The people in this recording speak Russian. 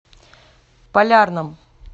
полярном